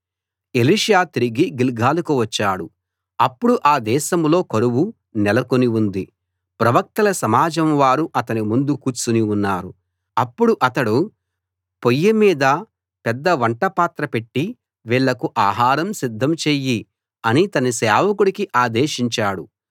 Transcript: Elisha తిరిగి గిల్గాలుకు వచ్చాడు అప్పుడు ఆ దేశంలో కరువు నెలకుని ఉంది ప్రవక్తల సమాజం వారు అతని ముందు కూర్చుని ఉన్నారు అప్పుడు అతడు పొయ్యి మీద పెద్ద వంట పాత్ర పెట్టి వీళ్ళకు ఆహరం సిద్ధం చెయ్యి అని తన సేవకుడికి ఆదేశించాడు